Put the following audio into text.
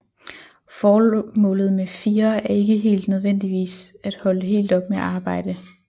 Formålet med FIRE er ikke nødvendigvis at holde helt op med at arbejde